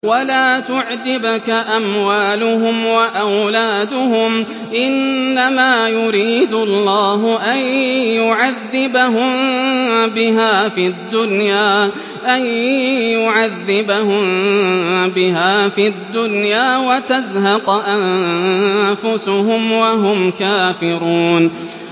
وَلَا تُعْجِبْكَ أَمْوَالُهُمْ وَأَوْلَادُهُمْ ۚ إِنَّمَا يُرِيدُ اللَّهُ أَن يُعَذِّبَهُم بِهَا فِي الدُّنْيَا وَتَزْهَقَ أَنفُسُهُمْ وَهُمْ كَافِرُونَ